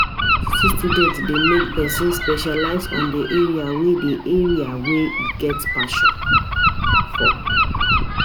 University studies de make persin specialize on the area wey the area wey e get passion for